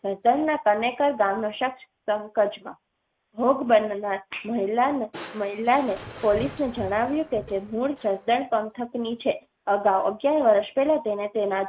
પંકજમાં ભોગ બનનાર મહિલાને મહિલાને પોલીસને જણાવ્યું કે તે મૂલ જસદણ પંથક ની છે. અગાઉ અગીયાર વરસ પહેલાં તેને તેનાં